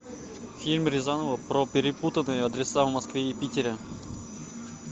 фильм рязанова про перепутанные адреса в москве и питере